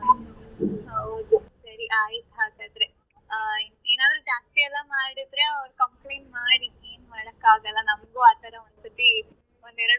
ಹೌದು ಸರಿ ಆಯ್ತ್ ಹಾಗಾದ್ರೆ ಆ ಏನಾದ್ರು ಜಾಸ್ತಿ ಎಲ್ಲ ಮಾಡಿದ್ರೆ ಅವ್ರ್ complaint ಮಾಡಿ ಏನ್ ಮಾಡಕ್ಕಾಗಲ್ಲ ನಮಗೂ ಆ ತರ ಒಂದ್ ಸತಿ ಒಂದ್ ಎರಡ್ ಮೂರ್ ಸರ್ತಿ